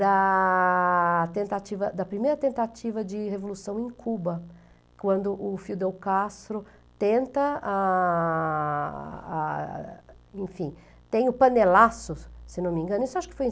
da tentativa, da primeira tentativa de revolução em Cuba, quando o Fidel Castro tenta, ah, ah, enfim, tem o panelaço, se não me engano, isso acho que foi em